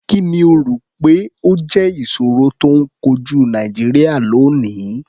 Kì ni o rò pé ó jẹ́ ìṣòro tó ń kojú Nàìjíríà lónìí?